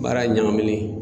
Baara ɲagamilen